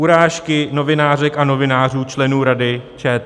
Urážky novinářek a novinářů členy Rady ČT.